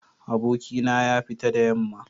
Abokina ya fita da yamma